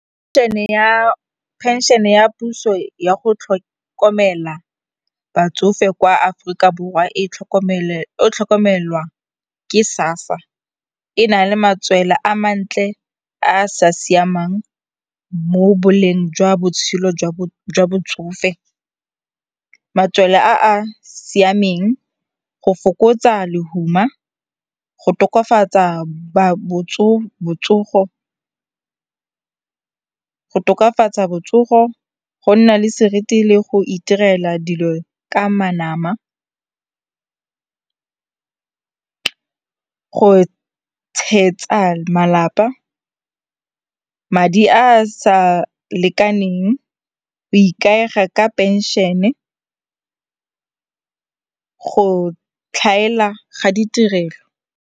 Phenšene ya puso ya go tlhokomela batsofe kwa Aforika Borwa e tlhokomelwa ke sassa. E na le matswela a mantle a a sa siamang mo boleng jwa botshelo jwa botsofe, matswela a a siameng, go fokotsa lehuma, go tokafatsa botsogo, go nna le seriti le go iterela dilo ka namana, go tshegetsa malapa, madi a a sa lekaneng, go ikaega ka pension-e, go tlhaela ga ditirelo.